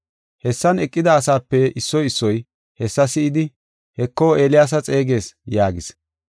Hessan eqida asape issoy issoy hessa si7idi, “Heko, Eeliyaasa xeegees” yaagis.